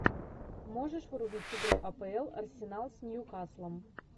можешь врубить игру апл арсенал с ньюкаслом